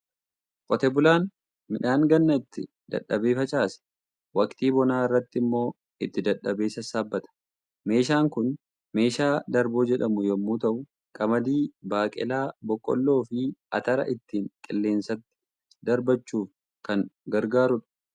Qotee bulaan midhaan ganna itti dadhabee facaase, waqtii bonaa irratti immoo itti dadhabee sassaabbata. Meeshaan kun meeshaa darboo jedhamu yommuu ta'u, qamadii, baaqelaa, boqqolloo fi atara ittiin qilleensatti darbachuuf kan gargaarudha.